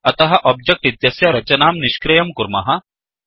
अतः ओब्जेक्ट् इत्यस्य रचनां निष्क्रियं कुर्मः